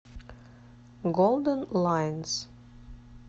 голден лайнс